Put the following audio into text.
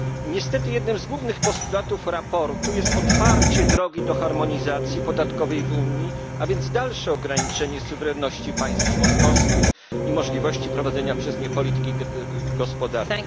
Niestety jednym z głównych postulatów sprawozdania jest otwarcie drogi do harmonizacji podatkowej w Unii, a więc dalsze ograniczenie suwerenności państw członkowskich i możliwości prowadzenia przez nie polityki gospodarczej.